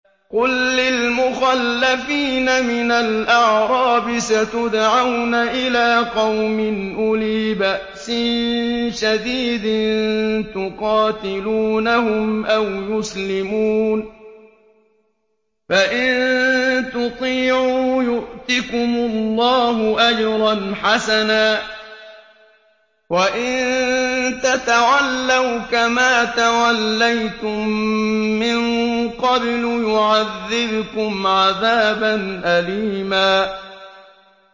قُل لِّلْمُخَلَّفِينَ مِنَ الْأَعْرَابِ سَتُدْعَوْنَ إِلَىٰ قَوْمٍ أُولِي بَأْسٍ شَدِيدٍ تُقَاتِلُونَهُمْ أَوْ يُسْلِمُونَ ۖ فَإِن تُطِيعُوا يُؤْتِكُمُ اللَّهُ أَجْرًا حَسَنًا ۖ وَإِن تَتَوَلَّوْا كَمَا تَوَلَّيْتُم مِّن قَبْلُ يُعَذِّبْكُمْ عَذَابًا أَلِيمًا